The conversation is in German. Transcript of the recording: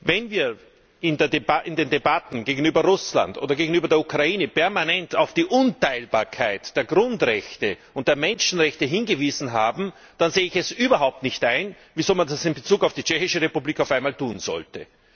Wenn wir in den Debatten gegenüber Russland oder gegenüber der Ukraine permanent auf die Unteilbarkeit der Grundrechte und der Menschenrechte hingewiesen haben, dann sehe ich es überhaupt nicht ein, wieso man das in Bezug auf die Tschechische Republik auf einmal nicht tun sollte.